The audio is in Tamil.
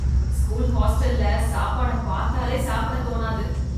ஸ்கூல் ஹாஸ்டல்ல சாப்பாட பார்த்தாலே சாப்புட தோணாது.